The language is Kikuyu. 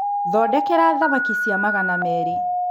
thondekera thamaki cia magana merĩ